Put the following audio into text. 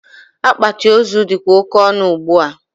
Akpati ozu dịkwa oke ọnụ ugbua.